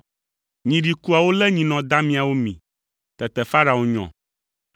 Nyi ɖikuawo lé nyinɔ damiawo mi! Tete Farao nyɔ!